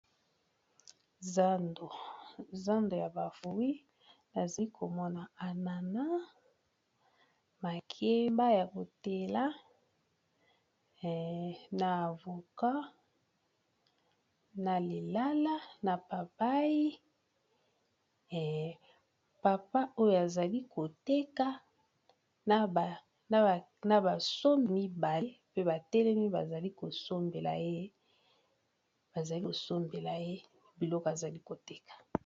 Zando ya ba fruit nazi komona anana makeba ya kotela na avocat, na lilala, na papai, papa oyo azali koteka na basombi mibale pe batelemi bazali kosombela ye biloko azali koteka.